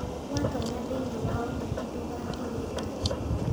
Watonya thĩiniĩ wa ũteti ndũgatige Ngai